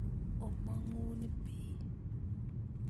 Omongun bii